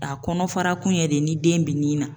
A kɔnɔ fara kun yɛrɛ de ni den bi ni na